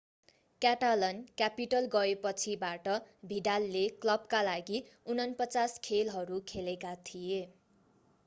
Catalan capital गएपछिबाट भिडालले क्लबका लागि 49 खेलहरू खेलेका थिए